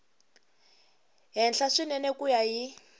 henhla swinene ku ya hi